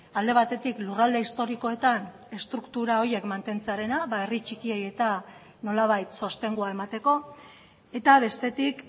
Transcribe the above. alde batetik lurralde historikoetan estruktura horiek mantentzearena herri txikiei eta nolabait sostengua emateko eta bestetik